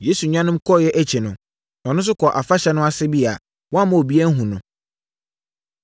Yesu nuanom, kɔeɛ akyi no, ɔno nso kɔɔ afahyɛ no ase bi a wamma obiara anhunu no.